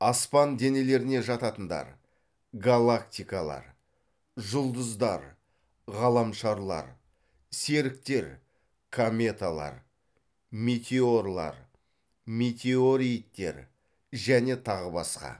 аспан денелеріне жататындар галактикалар жұлдыздар ғаламшарлар серіктер кометалар метеорлар метеориттер және тағы басқа